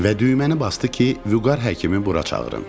Və düyməni basdı ki, Vüqar həkimi bura çağırın.